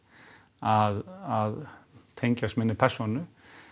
að tengjast minni persónu